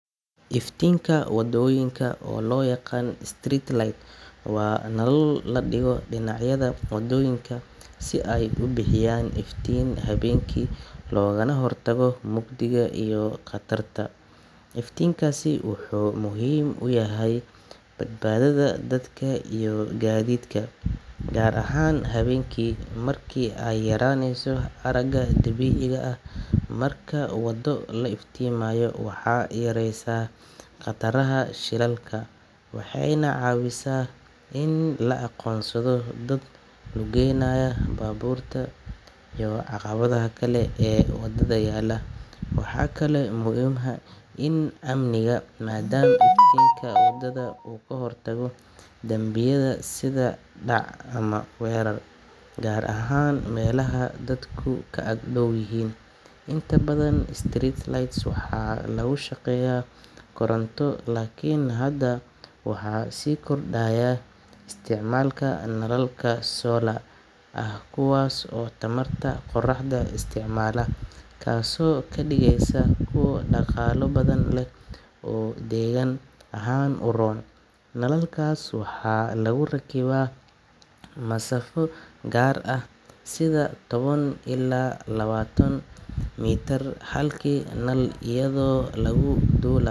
Iftiinka waddooyinka, oo loo yaqaan street light, waa nalal la dhigo dhinacyada waddooyinka si ay u bixiyaan iftiin habeenkii loogana hortago mugdiga iyo khatarta. Iftiinkaasi wuxuu muhiim u yahay badbaadada dadka iyo gaadiidka, gaar ahaan habeenkii marka ay yaraanayso aragga dabiiciga ah. Marka waddo la iftiimiyo, waxay yareysaa khataraha shilalka, waxayna caawisaa in la aqoonsado dad lugeynaya, baabuurta iyo caqabadaha kale ee waddada yaalla. Waxaa kaloo muhiim ah dhinaca amniga, maadaama iftiinka waddada uu ka hortago dambiyada sida dhac ama weerar, gaar ahaan meelaha dadku ka ag dhow yihiin. Inta badan street lights waxaa lagu shaqeeyaa koronto, laakiin hadda waxaa sii kordhaya isticmaalka nalalka solar ah kuwaas oo tamarta qoraxda isticmaala, taasoo ka dhigaysa kuwo dhaqaale badan leh oo deegaan ahaan u roon. Nalalkaas waxaa lagu rakibaa masaafo gaar ah, sida toban ilaa labaatan mitir halkii nal, iyadoo laga duulayo.